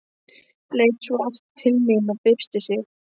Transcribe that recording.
Leit svo aftur til mín og byrsti sig.